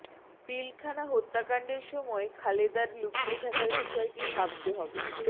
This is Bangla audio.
পিলখানা হত্যাকাণ্ডের সময় খালেদার লুকিয়ে থাকার বিষয়টি ভাবতে হবে